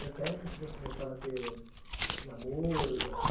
Nessa época, você já começava a ter namoros, assim?